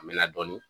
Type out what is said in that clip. A mɛna dɔɔnin